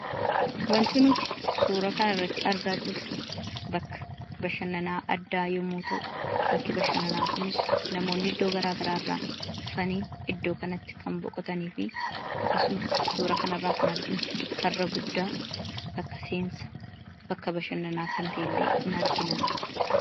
Wanti nuti suuraa kanarratti argaa jirru, bakka bashananaa addaa yommuu ta'u, bakki bashananaa kunis namoonni iddoo garagaraa dhufanii iddoo kanatti kan boqotaniifi akkasuma suura kanarraa kan arginu, karra guddaa bakka seensaa bakka bashananaa kan ta'ellee ni argina.